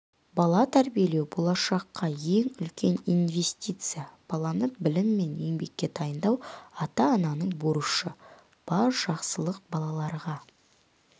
бала тәрбиелеу болашаққа ең үлкен инвестиция баланы білім мен еңбекке дайындау ата-ананың борышы бар жақсылық балаларға